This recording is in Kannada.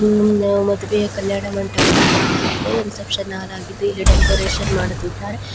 ಮದುವೆಯ ಕಲ್ಯಾಣಮಂಟಪದ ಹಾಲಾಗಿದೆ ರಿಸೆಪ್ಶನ್ ಹಾಲಾಗಿದೆ ಇಲ್ಲಿ ಡೆಕೋರೇಷನ್ ಮಾಡುತ್ತಿದ್ದಾರೆ.